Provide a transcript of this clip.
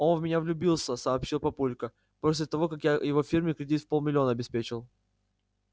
он в меня влюбился сообщил папулька после того как я его фирме кредит в полмиллиона обеспечил